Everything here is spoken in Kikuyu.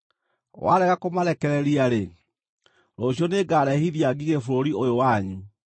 Warega kũmarekereria-rĩ, rũciũ nĩngarehithia ngigĩ bũrũri ũyũ wanyu.